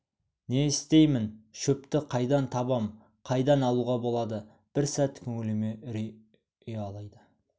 не істеймін шөпті қайдан табам қайдан алуға болады бір сәт көңіліме үрей ұялайды